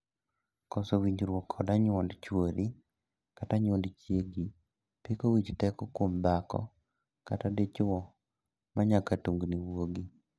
Koso winjruok kod anyuond chuori kata anyuond chiegi piko wich teko kuom dhako kata dichwo manyaka tungni wuogi.